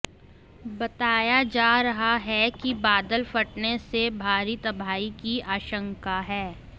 बताया जा रहा रहा है कि बादल फटने से भारी तबाही की आशंका है